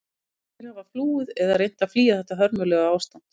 Margir hafa flúið eða reynt að flýja þetta hörmulega ástand.